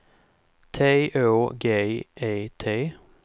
T Å G E T